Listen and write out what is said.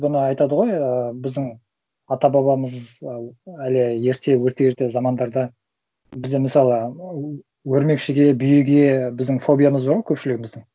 бұны айтады ғой ыыы біздің ата бабамыз і әлі ерте өте ерте замандарда бізде мысалы өрмекшіге бүйеге біздің фобиямыз бар ғой көпшілігіміздің